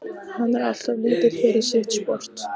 Hann er alltof lítill fyrir sitt sport.